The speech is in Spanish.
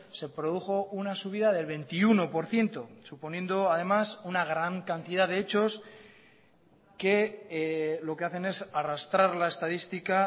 se produjo una subida del veintiuno por ciento suponiendo además una gran cantidad de hechos que lo que hacen es arrastrar la estadística